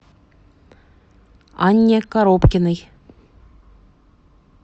анне коробкиной